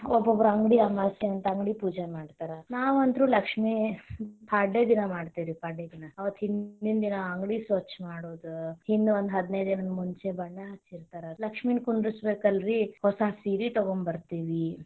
ಒಬ್ಬೊಬ್ರು ಅಂಗಡಿ ಅಮಾಸಿ ಅಂತ ಅಂಗಡಿ ಪೂಜಾ ಮಾಡ್ತಾರಾ, ನಾವ ಅಂತರು ಲಕ್ಷ್ಮಿ ಪಾಡ್ಯ ದಿನಾ ಮಾಡ್ತೇವಿ ರಿ ಪಾಡ್ಯ ದಿನ ಅವತ್ತ ಹಿಂದಿನ ದಿನಾ ಅಂಗಡಿ ಸ್ವಚ್ಚ ಮಾಡುದು ಹಿಂದ ಒಂದ ಹದಿನೈದು ದಿನಾ ಮುಂಚೆ ಬಣ್ಣ ಹಚ್ಚಿರತಾರ, ಲಕ್ಷ್ಮಿನ ಕುಂದರಸಬೇಕಲ್ಲರೀ ಹೊಸಾ ಸೀರಿ ತೊಗೊಂಬರ್ತೇವಿ.